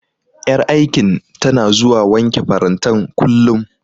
Ƴar aikin tana zuwa wanke farantan, kullum.